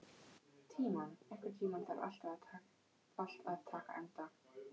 Tímon, einhvern tímann þarf allt að taka enda.